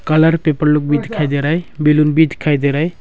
Colour paper लोग भी दिखाई दे रहा है बैलून भी दिखाई दे रहा है।